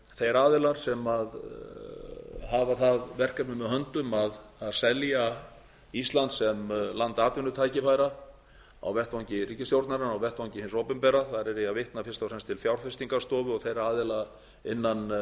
þeir aðilar sem hafa það verkefni með höndum að selja ísland sem land atvinnutækifæra á vettvangi ríkisstjórnarinnar og vettvangi hins opinbera þar er ég að vitna fyrst og fremst til fjárfestingarstofu og þeirra aðila innan